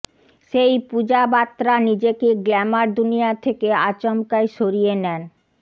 সেই পূজা বাত্রা নিজেকে গ্ল্যামার দুনিয়া থেকে আচমকাই সরিয়ে নেন